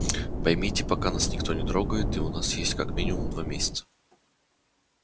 поймите пока нас никто не трогает и у нас есть как минимум два месяца